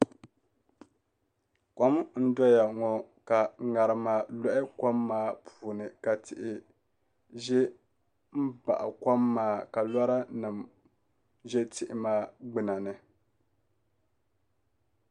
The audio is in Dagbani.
Kom n doya ŋo ka ŋarima loɣi kom maa puuni ka tihi ʒɛ n baɣa kom maa ka lora nim ʒɛ tihi maa gbuna ni